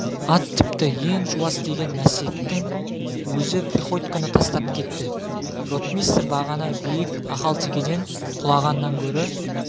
ат тіпті ең жуас деген мәстектің өзі приходьконы тастап кетті ротмистр бағана биік ақалтекеден құлағаннан гөрі